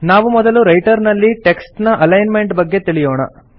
ನಾವು ಮೊದಲು ರೈಟರ್ ನಲ್ಲಿ ಟೆಕ್ಸ್ಟ್ ನ ಅಲೈನ್ಮೆಂಟ್ ನ ಬಗ್ಗೆ ತಿಳಿಯೋಣ